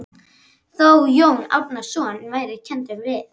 Þó Jón Árnason væri kenndur við